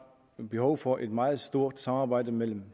behov for et meget stort samarbejde mellem